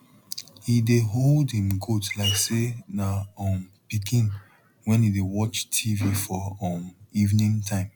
he dey hold em goat like say na um pikin wen e dey watch tv for um evening time